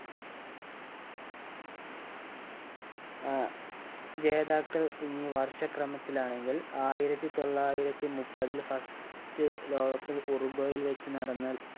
ആഹ് ജേതാക്കൾ ഈ വർഷക്രമത്തിലാണെങ്കിൽ ആയിരത്തി തൊള്ളായിരത്തി മുപ്പതിൽ first ലോക cup ഉറുഗോയിൽ വെച്ച് നടന്ന